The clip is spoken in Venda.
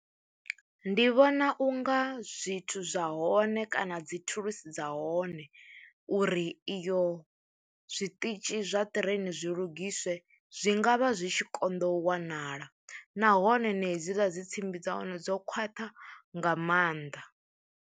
Ndi vhona u nga zwithu zwa hone kana dzi thulusi dza hone uri iyo zwiṱitshi zwa ṱireini zwi lugisiwe zwi nga vha zwi tshi konḓa u wanala nahone na hedziḽa dzi tsimbi dza hone dzo khwaṱha nga maanḓa.